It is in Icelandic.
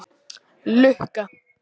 Lukka